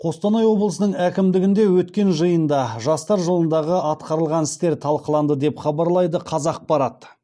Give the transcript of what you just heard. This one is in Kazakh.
қостанай облысының әкімдігінде өткен жиында жастар жылындағы атқарылған істер талқыланды деп хабарлайды қазақпарат